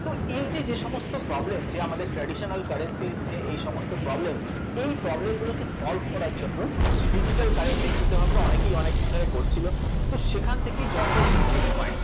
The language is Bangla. তো এই যে যেসমস্ত problem যে আমাদের traditional currencies যে এইসমস্ত problem এই problem গুলোকে solve করার জন্য digital currency এর চিন্তাভাবনা অনেকেই অনেকদিন ধরে করছিল, তো সেখান থেকেই জন্ম আসে bitcoin